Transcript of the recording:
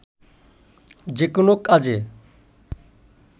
যেকোনো কাজে